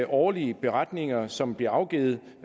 årlige beretninger som bliver afgivet